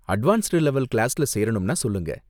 Advanced level கிளாஸ்ல சேரணும்னா சொல்லுங்க.